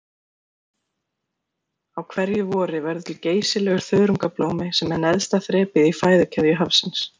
Á hverju vori verður til geysilegur þörungablómi sem er neðsta þrepið í fæðukeðju hafsins.